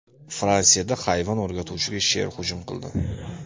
Fransiyada hayvon o‘rgatuvchiga sher hujum qildi .